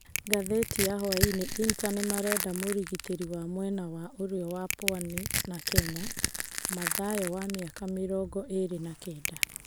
(Ngathĩti ya hwainĩ). Inter nĩmarenda mũrigitĩri wa mwena wa ũrĩo wa Pwani na Kenya, Mathayo wa mĩaka mĩrongo ĩrĩ na kenda.